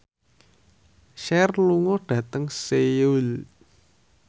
Cher lunga dhateng Seoul